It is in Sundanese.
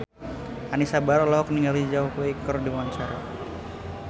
Anisa Bahar olohok ningali Zhao Wei keur diwawancara